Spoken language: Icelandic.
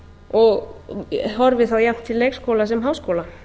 og horfi þá jafnt til leikskóla sem háskóla